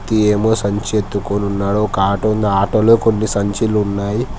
వ్యక్తి ఏమో సంచి ఎత్తుకొని ఉన్నాడు ఒక ఆటో ఉంది ఆ ఆటో లో కొన్ని సంచిలు ఉన్నాయి.